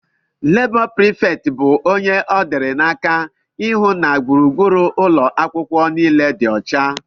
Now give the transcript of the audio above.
Labó preefecti bu ónyé ọ dị n'aka ịhụ na gburugburu ụlọakwụkwọ niile dị ọcha.